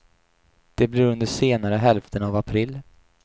Det blir under senare hälften av april.